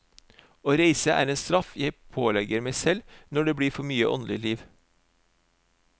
Å reise er en straff jeg pålegger meg når det blir for mye åndelig liv.